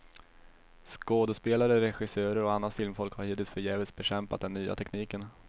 Skådespelare, regissörer och annat filmfolk har hittills förgäves bekämpat den nya tekniken.